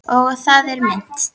Og á það er minnt.